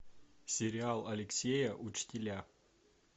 сериал алексея учителя